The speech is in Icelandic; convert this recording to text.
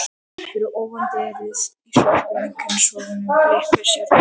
Fyrir ofan derið á svörtum einkennishúfunum blikuðu stjörnur.